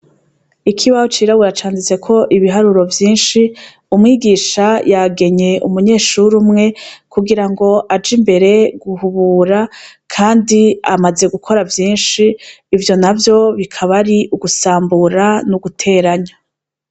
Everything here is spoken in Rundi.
Ikibaho cirabura canditseko ibiharuro vyinshi umwigisha yagenye umunyeshure umwe kugira ngo aje imbere guhubura kandi amaze gukora vyinshi ivyo navyo bikaba ari ugusambura n'uguteranya.